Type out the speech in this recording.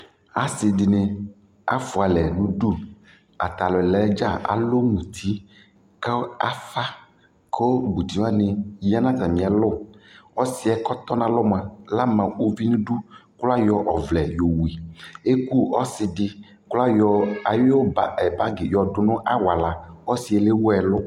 asii dini aƒʋa lɛ nʋ ʋdʋ, atalʋɛ dza alʋ mʋti kʋ aƒã kʋmʋti wani yanʋ atami alɔ, ɔsiiɛ kʋ ɔtɔnʋ nʋalʋɛ mʋa la ama ʋvi nʋ ʋdʋ kʋ ayɔ ɔvlɛ yɔwʋ, ɛkʋ ɔsidi kʋ ayɔ ayʋ bag yɔdʋnʋ awala, ɔsii lɛ wʋ ɛlʋ